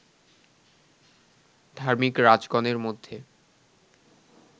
ধার্মিক রাজগণের মধ্যে